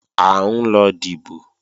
À ń lọ dìbò